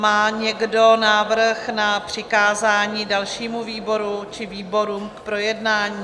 Má někdo návrh na přikázání dalšímu výboru či výborům k projednání?